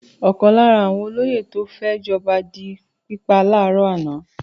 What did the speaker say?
Ọ̀kan lára àwọn olóyè tó fẹ́ jọba di pípa láàárọ̀ àná.